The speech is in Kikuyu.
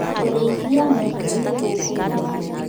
Kũrĩithia mahiũ nĩ gũkũgirio